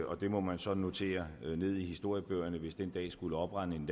og det må man så notere ned i historiebøgerne hvis den dag skulle oprinde